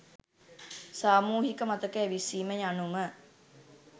සාමූහික මතක ඇවිස්සීම යනුම